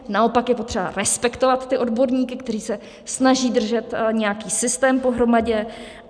Naopak, je potřeba respektovat ty odborníky, kteří se snaží držet nějaký systém pohromadě.